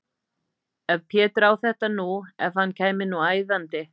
Ef Pétur á þetta nú. ef hann kæmi nú æðandi!